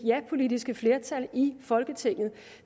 japolitiske flertal i folketinget